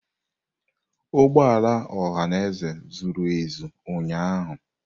Ụgbọ ala ọhaneze juru eju ụnyahụ.